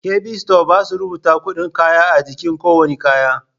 Kabi sito basa rubata kuɗin kayan a jiki kowanne kaya